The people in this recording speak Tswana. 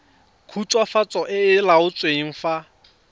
khutswafatso e e laotsweng fa